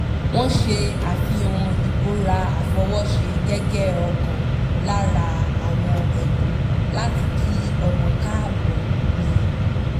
wọ́n ṣe àfihàn ìbora àfọwọ́ṣe gẹ́gẹ́ ọ̀kan lára àwọn ẹ̀bùn láti kí ọmọ káàbọ̀ ni